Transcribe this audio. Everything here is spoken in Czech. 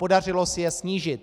Podařilo se je snížit.